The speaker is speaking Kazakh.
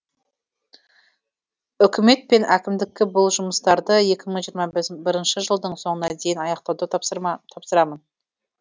үкімет пен әкімдікке бұл жұмыстарды екі мың жиырма бірінші жылдың соңына дейін аяқтауды тапсырамын